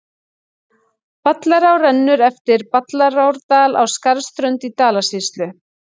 Ballará rennur eftir Ballarárdal á Skarðsströnd í Dalasýslu.